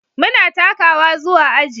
Muna takawa zuwa aji.